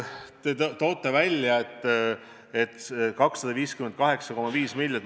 Te toote välja 258,5 miljonit.